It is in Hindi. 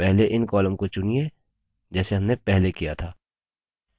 तो पहले इन columns को चुनिए जैसे हमने पहले किया था